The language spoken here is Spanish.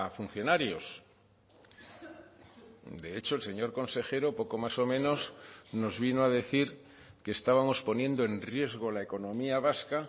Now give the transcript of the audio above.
funcionarios de hecho el señor consejero poco más o menos nos vino a decir que estábamos poniendo en riesgo la economía vasca